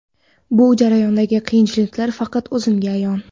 Bu jarayondagi qiyinchiliklar faqat o‘zimga ayon.